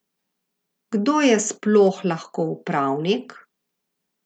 Kdo je sploh lahko upravnik?